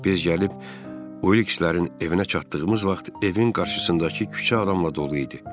Biz gəlib Olikslərin evinə çatdığımız vaxt evin qarşısındakı küçə adamla dolu idi.